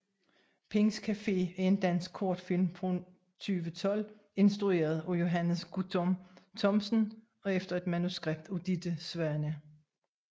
Pinds Café er en dansk kortfilm fra 2012 instrueret af Johannes Guttorm Thomsen og efter manuskript af Ditte Svane